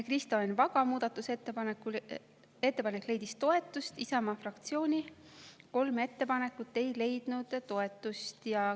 Kristo Enn Vaga muudatusettepanek leidis toetust, Isamaa fraktsiooni kolm ettepanekut ei leidnud toetust.